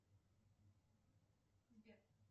сбер